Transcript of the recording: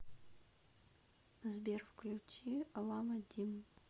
сбер включи лама дим